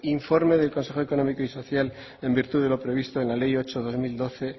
informe del consejo económico y social en virtud de lo previsto en la ley ocho barra dos mil doce